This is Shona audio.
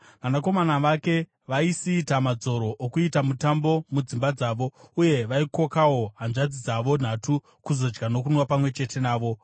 Vanakomana vake vaisiita madzoro okuita mutambo mudzimba dzavo, uye vaikokawo hanzvadzi dzavo nhatu kuzodya nokunwa pamwe chete navo.